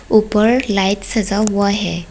ऊपर लाइट सजा हुआ है।